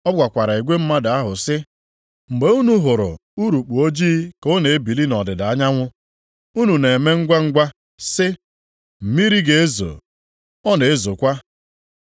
Ọ gwakwara igwe mmadụ ahụ sị, “Mgbe unu hụrụ urukpu ojii ka ọ na-ebili nʼọdịda anyanwụ, unu na-eme ngwangwa sị, ‘Mmiri ga-ezo,’ ọ na-ezokwa.